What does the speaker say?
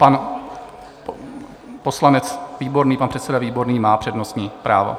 Pan poslanec Výborný, pan předseda Výborný má přednostní právo.